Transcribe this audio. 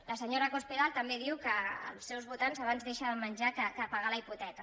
la senyora cospedal també diu que els seus votants abans deixen de menjar que de pagar la hipoteca